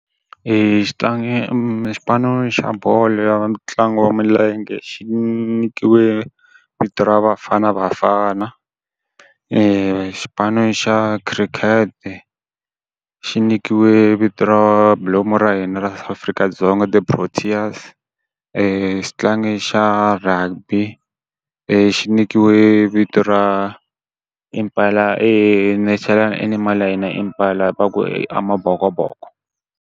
xitlangi xipano xa bolo ya ntlangu wa milenge xi nyikiwe vito ra Bafana Bafana. xipano xa khirikhete, xi nyikiwe vito ra bilomu ra hina ra Afrika-Dzonga the Proteas. xitlangi xa rugby i xi nyikiwe vito ra Impala national animal ya hina Impala va ku Amabokoboko.